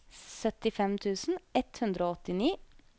syttifem tusen ett hundre og åttini